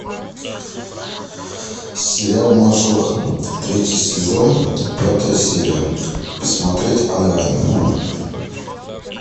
сериал мажор третий сезон пятая серия посмотреть онлайн